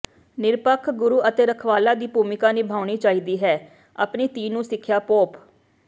ਨਿਰਪੱਖ ਗੁਰੂ ਅਤੇ ਰਖਵਾਲਾ ਦੀ ਭੂਮਿਕਾ ਨਿਭਾਉਣੀ ਚਾਹੀਦੀ ਹੈ ਆਪਣੀ ਧੀ ਨੂੰ ਸਿੱਖਿਆ ਪੋਪ